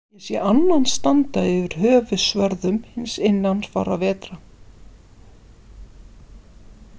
Ég sé annan standa yfir höfuðsvörðum hins innan fárra vetra.